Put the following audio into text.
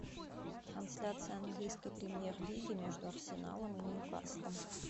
трансляция английской премьер лиги между арсеналом и ньюкаслом